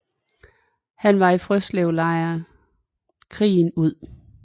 Han var i Frøslevlejren krigen ud